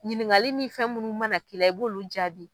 Ɲininkali ni fɛn munnu mana kila, i b'olu jaabi.